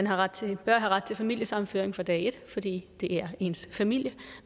har ret til familiesammenføring fra dag et fordi det er ens familie